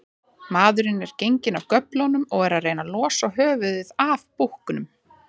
Maðurinn er genginn af göflunum og er að reyna losa höfuðið af búknum.